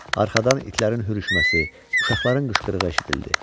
Arxadan itlərin hürüşməsi, uşaqların qışqırığı eşidildi.